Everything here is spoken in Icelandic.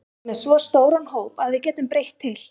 Við erum með svo stóran hóp að við getum breytt til.